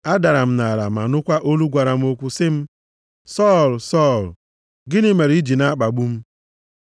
Adara m nʼala ma nụkwa olu gwara m okwu sị m, ‘Sọl, Sọl, gịnị mere i ji na-akpagbu m?’